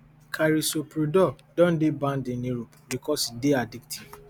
carisoprodol don dey banned in europe because e dey addictive